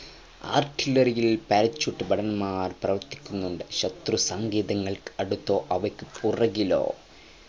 artillery ഇൽ parachute ഭടന്മാർ പ്രവർത്തിക്കുന്നുണ്ട് ശത്രുസങ്കേതങ്ങൾക്കു അടുത്തോ അവയ്ക്കു പുറകിലോ